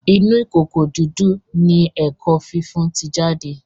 Inú ìkòkò didu ní èkó fífún tí jáde.